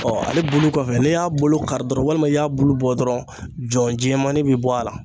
ale bulu kɔfɛ n'i y'a bolo kari dɔrɔn walima i y'a bulu bɔ dɔrɔn jɔn jɛmannin bɛ bɔ a la.